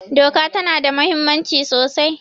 Doka ta na da muhimmanci sosai